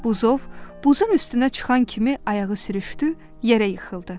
Buzov buzun üstünə çıxan kimi ayağı sürüşdü, yerə yıxıldı.